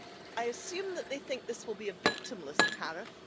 I assume that they think this will be a victimless tariff